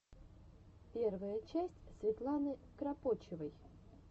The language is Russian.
первая часть светланы кропочевой